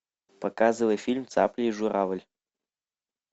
показывай фильм цапля и журавль